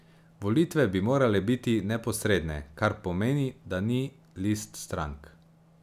Volitve bi morale biti neposredne, kar pomeni, da ni list strank.